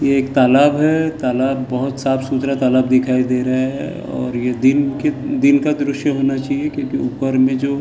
यह एक तालाब है बहुत साफ-सुथरा तालाब दिखाई दे रहा है और यह दीन का दृश्य होना चाहिए क्योंकि ऊपर में जो --